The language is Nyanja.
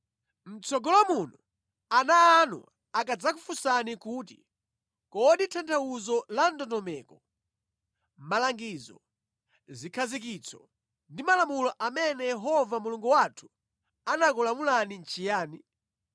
Mʼtsogolo muno, ana anu akadzakufunsani kuti, “Kodi tanthauzo la ndondomeko, malangizo, zikhazikitso ndi malamulo amene Yehova Mulungu wathu anakulamulani nʼchiyani?”